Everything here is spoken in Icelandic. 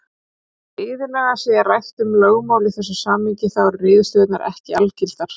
Þótt iðulega sé rætt um lögmál í þessu samhengi þá eru niðurstöðurnar ekki algildar.